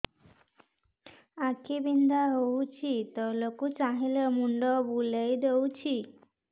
ଆଖି ବିନ୍ଧା ହଉଚି ତଳକୁ ଚାହିଁଲେ ମୁଣ୍ଡ ବୁଲେଇ ଦଉଛି